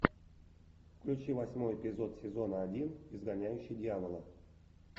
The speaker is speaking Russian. включи восьмой эпизод сезона один изгоняющий дьявола